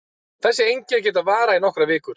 Þessi einkenni geta varað í nokkrar vikur.